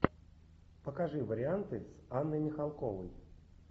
покажи варианты с анной михалковой